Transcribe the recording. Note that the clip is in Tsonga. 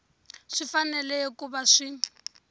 swi fanele ku va swi